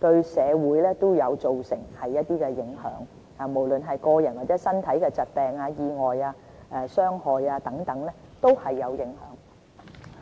和社會都會造成影響，無論是對個人，或者導致疾病、意外、身體的傷害等，都有影響。